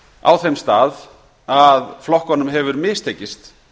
á þeim stað að flokkunum hefur mistekist